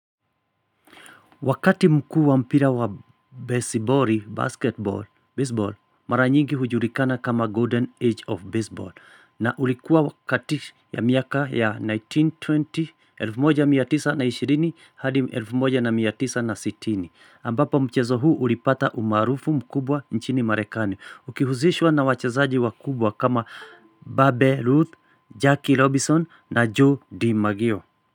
Wakati mkuu wa mpira wa besiboli, basketball, baseball, mara nyingi hujulikana kama Golden Age of Baseball. Na ulikuwa wakati ya miaka ya 1920, 1920 hadi 1960. Ambapo mchezo huu ulipata umaarufu mkubwa nchini marekani. Ukihusishwa na wachezaji wakubwa kama Babe Ruth, Jackie Robinson na Joe D. Maggio.